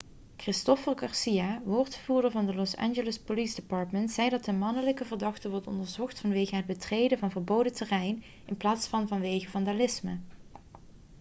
christopher garcia woordvoerder van het los angeles police department zei dat de mannelijke verdachte wordt onderzocht vanwege het betreden van verboden terrein in plaats van vanwege vandalisme